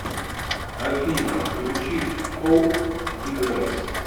афина включи коуп ди грэс